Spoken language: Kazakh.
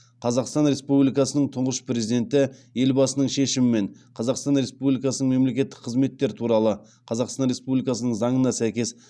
қазақстан республикасының тұңғыш президенті елбасының шешімімен қазақстан республикасының мемлекеттік қызметтер туралы қазақстан республикасының заңына сәйкес